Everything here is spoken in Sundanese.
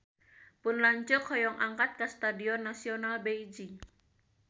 Pun lanceuk hoyong angkat ka Stadion Nasional Beijing